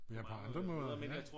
Ja på andre måder ja